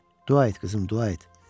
Dua et qızım, dua et.